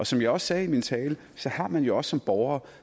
som jeg sagde i min tale har man jo også som borger